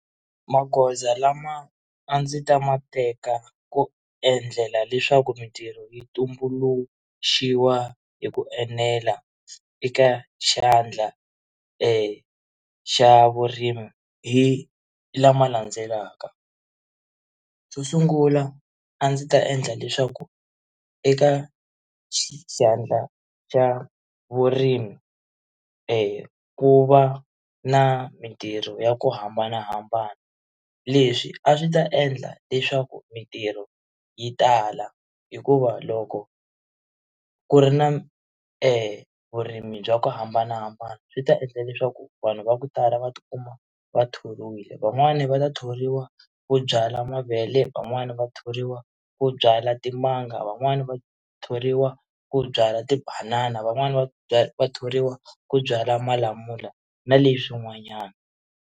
Magoza lama a ndzi ta ma teka ku endlela leswaku mitirho yi tumbuluxiwa hi ku enela eka xandla xa vurimi hi lama landzelaka, xo sungula a ndzi ta endla leswaku eka xandla xa vurimi ku va na mitirho ya ku hambanahambana leswi a swi ta endla leswaku mitirho yi tala hikuva loko ku ri na vurimi bya ku hambanahambana swi ta endla leswaku vanhu va ku tala va ti kuma va thoriwile van'wani va ta thoriwa ku byala mavele van'wani va thoriwa ku byala timanga van'wani va thoriwa ku byala tibanana van'wani vathoriwa ku byala malamula na leswin'wanyana.